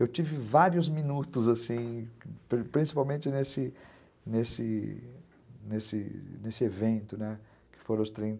Eu tive vários minutos, assim, principalmente nesse nesse nesse nesse evento, que foram os trin